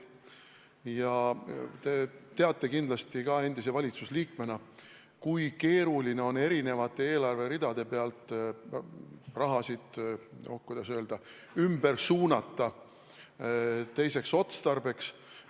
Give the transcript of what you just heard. Valitsuse endise liikmena te kindlasti teate, kui keeruline on eelarve eri ridade pealt raha ümber suunata teiseks otstarbeks.